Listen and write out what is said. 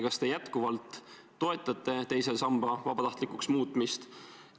Kas te jätkuvalt toetate teise samba vabatahtlikuks muutmist?